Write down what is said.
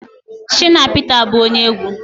Shina Pita bụ ónyé egwu